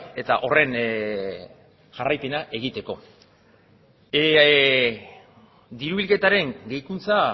likidazioak eta horren jarraipena diru bilketaren gehikuntza